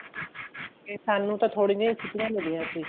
ਕੇ ਸਾਨੂੰ ਤਾਂ ਥੋੜੀਆਂ ਹੀ ਛੁੱਟੀਆਂ ਮਿਲੀਆਂ ਸੀ